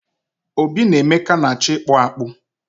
Obi na Emeka na-acho ikpu akpu akpu